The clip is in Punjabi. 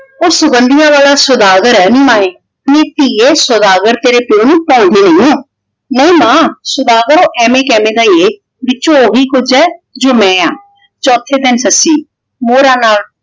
ਉਹ ਸੁਗੰਧੀਆਂ ਵਾਲਾ ਸੌਦਾਗਰ ਹੈ ਨੀ ਮਾਏ। ਨੀ ਧੀਏ ਸੌਦਾਗਰ ਤੇਰੇ ਪਿਓ ਨੂੰ ਭਾਉਂਦੇ ਨਹੀਂ, ਨਹੀਂ ਮਾਂ ਸੌਦਾਗਰ ਉਹ ਐਵੇਂ ਕੈਵੇਂ ਦਾ ਈ ਹੈ ਵਿੱਚੋ ਉਹੀ ਕੁਝ ਏ ਜੋ ਮੈਂ ਆਂ। ਚੋਥੇ ਦਿਨ ਸੱਸੀ ਮੋਹਰਾਂ ਨਾਲ